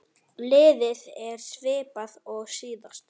Liðið er svipað og síðast.